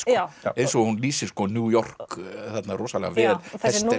eins og hún lýsir New York rosalega vel þessi